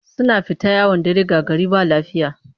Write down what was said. Suna fita yawon dare ga gari ba lafiya